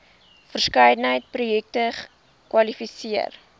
verskeidenheid projekte kwalifiseer